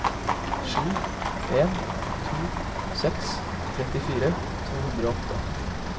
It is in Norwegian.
sju en to seks trettifire to hundre og åtte